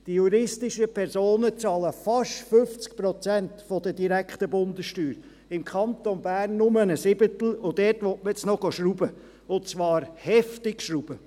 Die juristischen Personen bezahlen fast 50 Prozent der direkten Bundessteuer, im Kanton Bern nur einen Siebtel, und dort will man nun noch schrauben gehen – und zwar heftig schrauben.